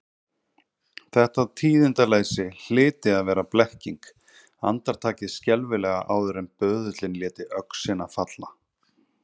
Þetta tíðindaleysi hlyti að vera blekking, andartakið skelfilega áður en böðullinn léti öxina falla.